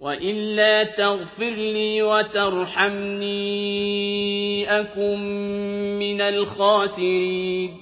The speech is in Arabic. وَإِلَّا تَغْفِرْ لِي وَتَرْحَمْنِي أَكُن مِّنَ الْخَاسِرِينَ